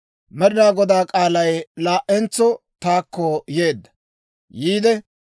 Med'inaa Godaa k'aalay laa"entso taakko yeedda; yiide,